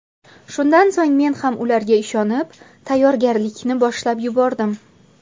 Shundan so‘ng men ham ularga ishonib, tayyorgarlikni boshlab yubordim.